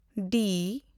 ᱰᱤ